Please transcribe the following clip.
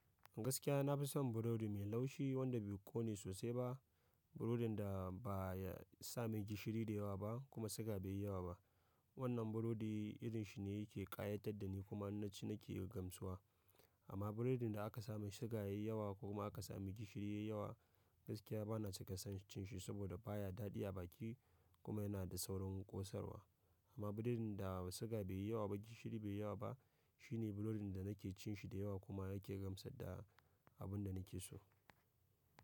Gaskiya na fi son burodi me laushi wanda be ƙome sossai ba burodin da ba ya sa mai gishiri da yawa ba kuma siga bai yi yawa ba. Wannan burodi irin shi ne yake ƙayatar da ni kuma in na nake yi gamsuwa. Amma burodin da aka sa mai suga yayi yawa ko kuma aka sa mai gishiri yayi yawa gaskiya bana cika son cin shi saboda baya daɗi a baki kuma yana da saurin ƙosarwa. Amma burodin da siga bai yi yawa ba gishiri bai yi yawa ba shine burodin da nake cin shi da yawa kuma yake gamsar da abun da nake so.